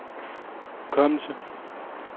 hukommelse